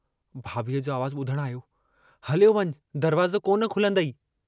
भाभीअ जो आवाज़ बुधण आयो, हलियो वञ दरवाज़ो कोन खुलंदइ।